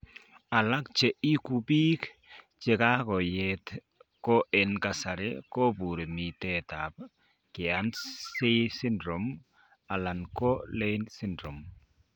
Alak che igu pig chegagoyet ko en kasar koporu mitet ap Kearns Sayre syndrome alan ko Leigh syndrome.